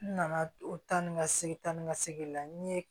N nana taa ni ka segin ta ni ka segin la n ye